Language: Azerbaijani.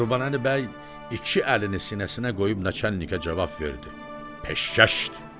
Qurbanəli bəy iki əlini sinəsinə qoyub naçalnikə cavab verdi: Peşkəşdi!